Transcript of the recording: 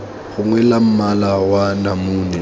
gongwe la mmala wa namune